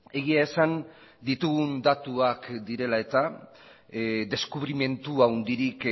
egia esan ditugun datuak direla eta deskubrimendu handirik